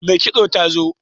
Mai kitson ta zo?